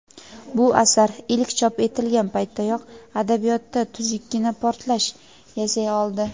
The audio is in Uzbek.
Bu asar ilk chop etilgan paytdayoq adabiyotda tuzukkina portlash yasay oldi.